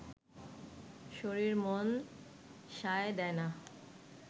শরীর মন সায় দেয় না